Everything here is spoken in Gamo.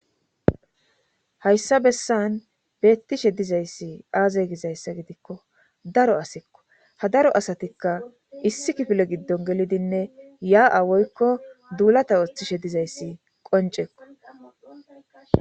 hayssa bessan beettishe dizayssi aaze gizayssa gidikko daro asikko ha daro asatikka issi kifile giddon gelidinne yaa7awoykko duulata ooththishe dizayssi qoncekko